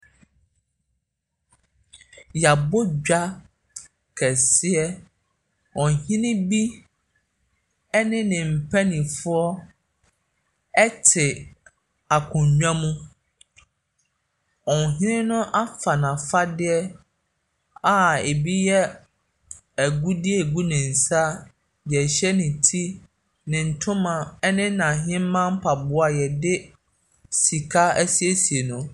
Wɔabɔ dwa kɛseɛ. Ɔhene bi ne ne mpanimfoɔ te akonnwa mu. Ɔhene no afa n'afadeɛ a ɛbi yɛ agudeɛ a ɛgu ne nsa, deɛ ɛhyɛ ne ti, ne ntoma ne n'ahenema mpaboa a wɔde sika asiesie no.